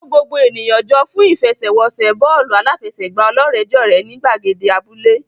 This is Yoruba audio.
Kó gbogbo ènìyàn jọ fún ìfẹsẹ̀wọnsẹ̀ bọ́ọ̀lù aláfẹsẹ̀gbá ọlọ́rẹ̀ẹ́jọ̀rẹ́ ní gbàgede abúlé.